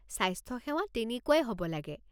স্বাস্থ্যসেৱা তেনেকুৱাই হ'ব লাগে।